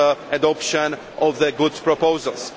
fast adoption of the good proposals.